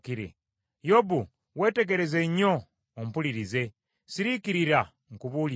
“Yobu, weetegereze nnyo, ompulirize; siriikirira nkubuulire.